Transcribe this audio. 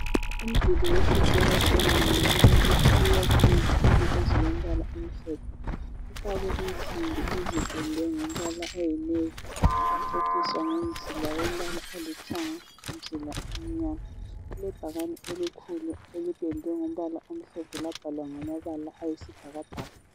Umduli wesikolo sebanga kwelakithi uyakhwe ngezitina ezilombala omhlophe, ifakwe insimbi ezipendwe ngombala oyi navy waceciswa ngemzila elembala olithanga lomzila omnyama , kulebhakane elikhulu elipendwe ngombala omhlophe labhalwa ngamabala ayisibhakabhaka